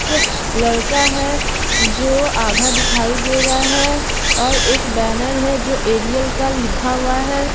एक लड़का है जो आधा दिखाई दे रहा है और एक बैनर है जो एरियल का लिखा हुआ है।